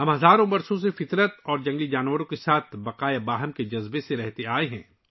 ہم ہزاروں سالوں سے فطرت اور جنگلی حیات کے ساتھ بقائے باہم کے جذبے میں رہ رہے ہیں